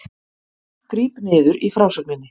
Gríp niður í frásögninni